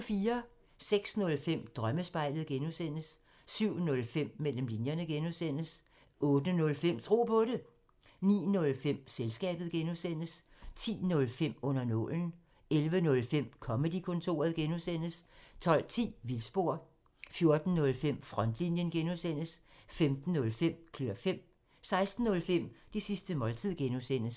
06:05: Drømmespejlet (G) 07:05: Mellem linjerne (G) 08:05: Tro på det 09:05: Selskabet (G) 10:05: Under nålen 11:05: Comedy-kontoret (G) 12:10: Vildspor 14:05: Frontlinjen (G) 15:05: Klør fem 16:05: Det sidste måltid (G)